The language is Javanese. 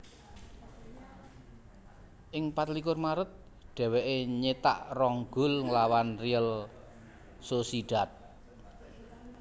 Ing pat likur Maret dèwèké nyétak rong gol nglawan Real Sociedad